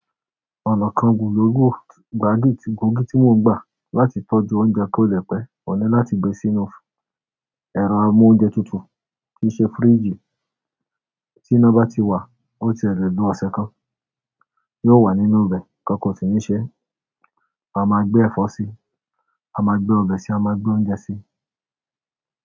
Ọ̀nà kan gùlogúù, gbòógì tí mò ń gbà láti tọ́jú oúnjẹ kó le pẹ́, ọ̀un ni láti gbe sínú ẹro amóúnjetutù, tí ì ṣe fíríjì. Tí iná bá ti wà, ó tiẹ́ le lo ọ̀sẹ̀ kan, yóò wà nínú ibe nkankan sì ní ṣe. A máa gbé ẹ̀fọ́ síi, a máa gbé ọbẹ̀ síi, a máa gbé oúnjẹ síi.